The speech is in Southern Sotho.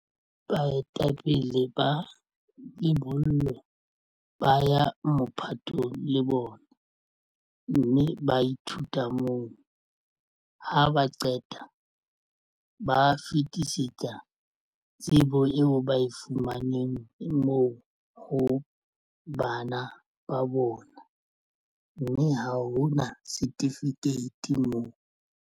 Baetapele ba lebollo ba ya mophatong le bona mme ba ithuta moo ha ba qeta ba fetisetsa tsebo eo ba e fumaneng moo ho bana ba bona, mme ha ho na setifikeiti moo.